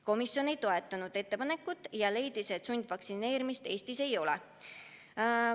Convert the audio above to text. Komisjon ei toetanud ettepanekut ja leidis, et sundvaktsineerimist Eestis ei ole.